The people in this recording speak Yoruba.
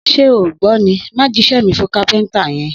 Sẹ o gbọ mi ni! Mà jisẹ mí fún kàpẹńtà yen.